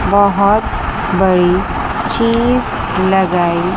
बहोत बड़ी चीज लगाई --